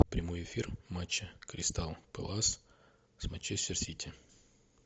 прямой эфир матча кристал пэлас с манчестер сити